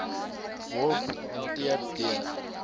word hanteer deur